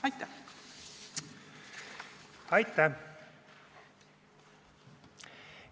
Aitäh!